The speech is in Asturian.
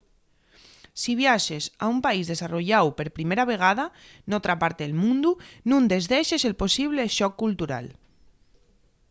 si viaxes a un país desarrolláu per primera vegada n'otra parte del mundu nun desdexes el posible shock cultural